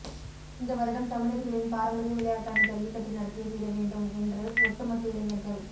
இந்த வருடம் தமிழர்களின் பாரம்பரிய விளையாட்டான ஜல்லிக்கட்டு நடத்தியே தீர வேண்டும் என்று ஒட்டுமொத்த இளைஞர்கள்